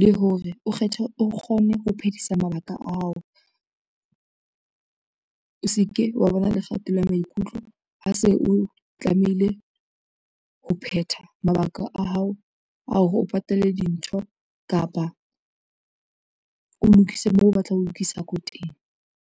le hore o kgone ho phedisa mabaka a hao. O se ke wa bona le kgatello ya maikutlo ha se o tlamehile ho phetha mabaka a hao a o re o patale dintho kapa o lokise moo o batlang ho lokisa ko teng.